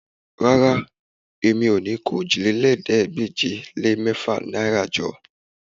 Rárá, mi ò ní kó òjìlélẹ́ẹ̀ẹ́dégbèje-lé-mẹ́fà náìrà jọ